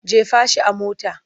Jefa shi a mota!